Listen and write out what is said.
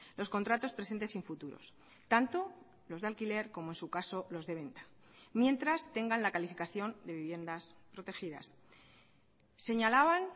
los contratos presentes sin futuros tanto los de alquiler como en su caso los de venta mientras tengan la calificación de viviendas protegidas señalaban